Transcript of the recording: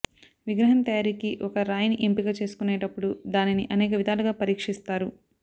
విగ్రహం తయారీకి ఒక రాయిని ఎంపిక చేసుకునేటపుడు దానిని అనేక విధాలుగా పరీక్షిస్తారు